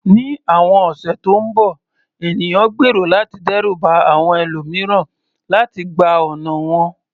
Ní àwọn ọ̀sẹ̀ tó ń bọ̀, ènìyàn gbèrò láti dẹ́rù ba àwọn ẹlòmíràn láti gba ọ̀nà wọn.